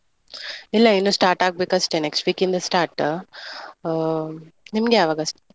ಇಲ್ಲಾ ಇನ್ನು start ಆಗ್ಬೇಕು ಅಷ್ಟೇ. next week ಇಂದ start , ನಿಮ್ಗೆ ಯಾವಾಗ?